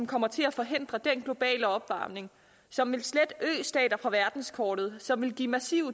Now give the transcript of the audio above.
kommer til at forhindre den globale opvarmning som vil slette østater fra verdenskortet som vil give massiv